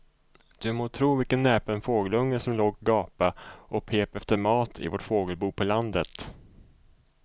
Du må tro vilken näpen fågelunge som låg och gapade och pep efter mat i vårt fågelbo på landet.